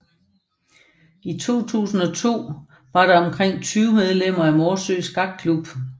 I 2002 var der omkring 20 medlemmer af Morsø Skakklub